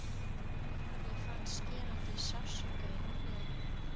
Ég fann skerandi sársauka í úlnliðnum.